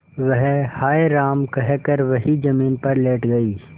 वह हाय राम कहकर वहीं जमीन पर लेट गई